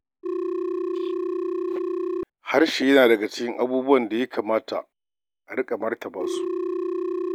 Harshe yana cikin abubuwan da ya kamata a riƙa martaba su.